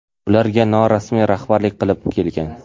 ularga norasmiy rahbarlik qilib kelgan..